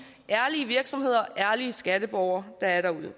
ærlige virksomheder ærlige skatteborgere der er derude vi